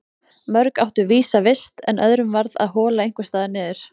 Mörg áttu vísa vist en öðrum varð að hola einhvers staðar niður.